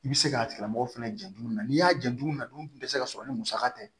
I bɛ se k'a tigilamɔgɔ fɛnɛ jɔ don min na n'i y'a jantu na du tɛ se ka sɔrɔ ni musaka tɛ